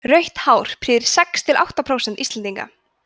rautt hár prýðir sex til átta prósent íslendinga